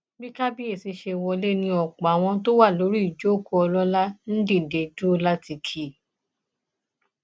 bí kábíyèsí ṣe wọlé ni ọpọ àwọn tó wà lórí ìjókòó ọlọlá ń dìde dúró láti kí i